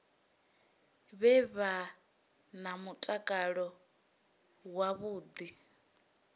vha vhe na mutakalo wavhuḓi